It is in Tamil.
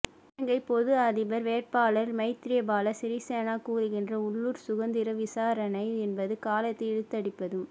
இலங்கை பொது அதிபர் வேட்பாளர் மைத்திரிபால சிறிசேன கூறுகின்ற உள்ளூர் சுதந்திர விசாரணை என்பது காலத்தை இழுத்தடிப்பதும்